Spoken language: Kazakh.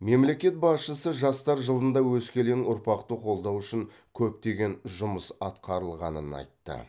мемлекет басшысы жастар жылында өскелең ұрпақты қолдау үшін көптеген жұмыс атқарылғанын айтты